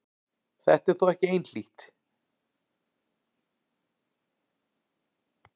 Þetta er þó ekki einhlítt.